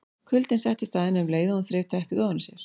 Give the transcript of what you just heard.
Kuldinn settist að henni um leið og hún þreif teppið ofan af sér.